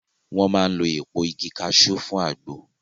Wọ́n máa ń lo èpo igi kaṣú fún àgbo